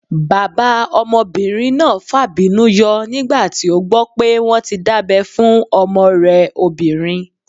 Bàbá ọmọbìnrin náà fàbínú yọ nígbà tí ó gbọ́ pé wọ́n tí dábẹ́ fún ọmọ rẹ̀ obìnrin